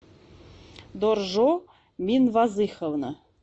доржо минвазыховна